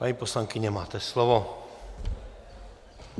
Paní poslankyně, máte slovo.